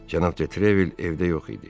Cənab De Trevile evdə yox idi.